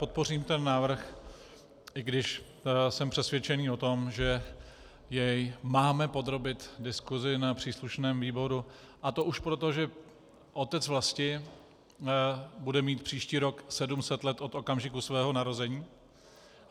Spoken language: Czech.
Podpořím ten návrh, i když jsem přesvědčený o tom, že jej máme podrobit diskusi na příslušném výboru, a to už proto, že otec vlasti bude mít příští rok 700 let od okamžiku svého narození.